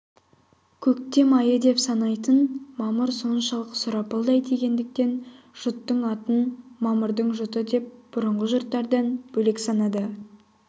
көктем айы деп санайтын мамыр соншалық сұрапылдай тигендіктен жұттың атын мамырдың жұты деп бұрынғы жұттардан бөлек санады